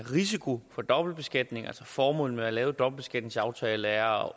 risiko for dobbeltbeskatning altså formålet med at lave en dobbeltbeskatningsaftale er